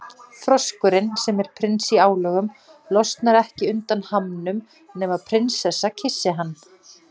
Froskurinn, sem er prins í álögum, losnar ekki undan hamnum nema prinsessa kyssi hann.